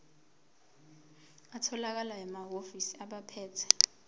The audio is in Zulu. atholakala emahhovisi abaphethe